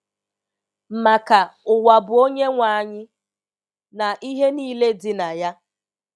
“Maka, “Ụwa bụ Onyenwe anyị, na ihe niile dị na ya.””